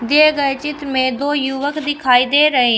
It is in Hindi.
दिए गए चित्र में दो युवक दिखाई दे रहे--